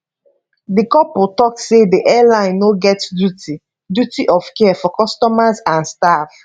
di couple tok say di airline no get duty duty of care for customers and staff